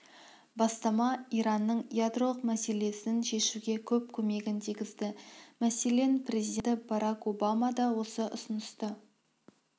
бастама иранның ядролық мәселесін шешуге көп көмегін тигізді мәселен президенті барак обама да осы ұсынысты